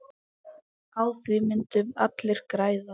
Á því myndu allir græða.